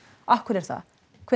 af hverju er það hver